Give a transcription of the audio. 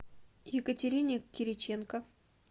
екатерине кириченко